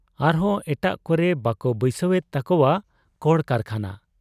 ᱟᱨᱦᱚᱸ ᱮᱴᱟᱜ ᱠᱚᱨᱮ ᱵᱟᱠᱚ ᱵᱟᱹᱭᱥᱟᱹᱣ ᱮᱫ ᱛᱟᱠᱚᱣᱟ ᱠᱚᱲᱠᱟᱨᱠᱷᱟᱱᱟ ᱾